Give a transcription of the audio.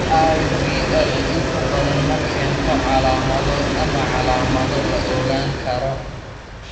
IVL inta badan ma keento calaamado ama calaamado la ogaan karo.